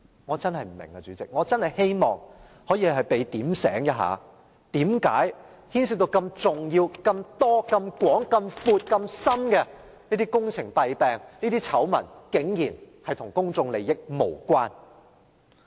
我真的不明白，主席，我真的希望有人告訴我，為何事件牽涉如此重要、如此眾多、如此廣闊的工程弊病、醜聞，竟然與公眾利益無關。